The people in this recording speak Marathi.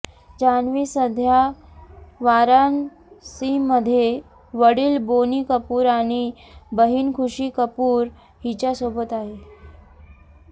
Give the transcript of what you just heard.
जान्हवी सध्या वाराणसीमध्ये वडिल बोनी कपूर आणि बहिण खुशी कपूर हिच्यासोबत आहे